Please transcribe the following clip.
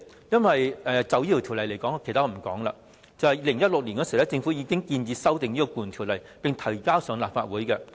因為政府在2016年已經建議修訂《僱傭條例》，並將有關法案提交立法會。